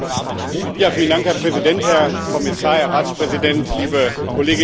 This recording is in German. Herr Präsident, Herr Kommissar, Herr Ratspräsident, liebe Kolleginnen und Kollegen!